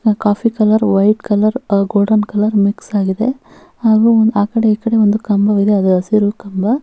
ನಾ coffee colour white colour golden colour mix ಆಗಿದೆ ಹಾಗು ಆ ಕಡೆ ಈ ಕಡೆ ಒಂದು ಕಂಬ ಇದೆ ಅದು ಹಸಿರು ಕಂಬ --